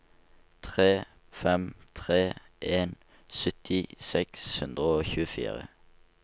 tre fem tre en sytti seks hundre og tjuefire